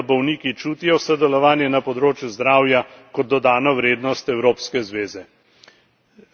Pomembno je, da bolniki čutijo sodelovanje na področju zdravja kot dodano vrednost Evropske zveze.